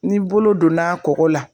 Ni bolo donna kɔkɔ la